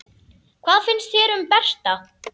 Hvað finnst þér um Berta?